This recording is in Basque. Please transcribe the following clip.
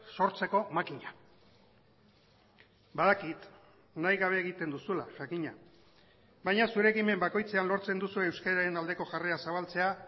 sortzeko makina badakit nahi gabe egiten duzula jakina baina zure ekimen bakoitzean lortzen duzu euskararen aldeko jarrera zabaltzea